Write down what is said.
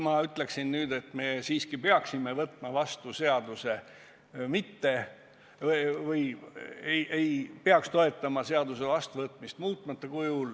Ma ütleksin nüüd, et me ei peaks toetama seaduse vastuvõtmist muutmata kujul.